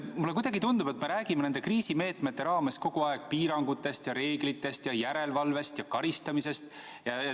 Mulle kuidagi tundub, et me räägime nende kriisimeetmete raames kogu aeg piirangutest ja reeglitest ja järelevalvest ja karistamisest.